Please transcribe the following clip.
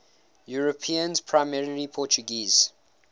europeans primarily portuguese